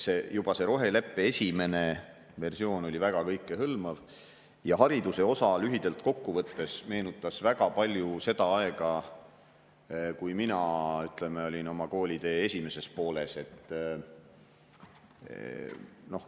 Juba see roheleppe esimene versioon oli väga kõikehõlmav ja hariduse osa lühidalt kokku võttes meenutas väga palju seda aega, kui mina olin oma koolitee esimeses pooles.